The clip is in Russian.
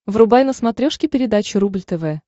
врубай на смотрешке передачу рубль тв